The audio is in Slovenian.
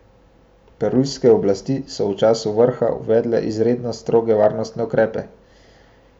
Perujske oblasti so v času vrha uvedle izredno stroge varnostne ukrepe.